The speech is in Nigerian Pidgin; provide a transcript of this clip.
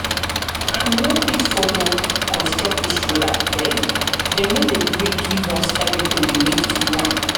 no fit follow construct dis road abeg dem no dey gree give us everything we need to do am